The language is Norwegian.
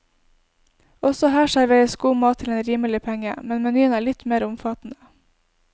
Også her serveres god mat til en rimelig penge, men menyen er litt mer omfattende.